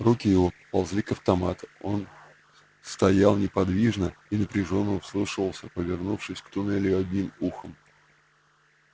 руки его поползли к автомату он стоял неподвижно и напряжённо вслушивался повернувшись к туннелю одним ухом